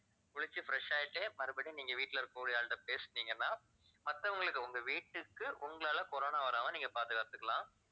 குளிச்சு fresh ஆயிட்டு மறுபடியும் நீங்க வீட்டுல இருக்கக்கூடிய ஆள்கிட்ட பேசினீங்கன்னா மத்தவங்களுக்கு உங்க வீட்டுக்கு உங்களால corona வராம நீங்க பாதுகாத்துக்கலாம்